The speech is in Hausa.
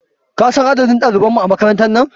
Kasan adadin ɗaliban mu a makarantar nan?